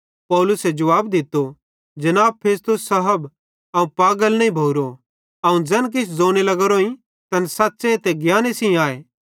पौलुसे जुवाब दित्तो जनाब फेस्तुस साहब अवं पागल नईं भोरो अवं ज़ैन किछ ज़ोने लगोरोइं तैन सच़्च़े ते ज्ञाने सेइं आए